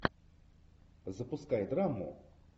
запускай драму